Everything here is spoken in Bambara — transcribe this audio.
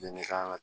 Bɛnɛ ka